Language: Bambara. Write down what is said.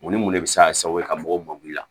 Mun ni mun de bɛ se ka kɛ sababu ye ka mɔgɔw mag'i la